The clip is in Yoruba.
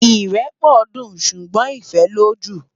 Irèpò dún súgbòn Ifèlójú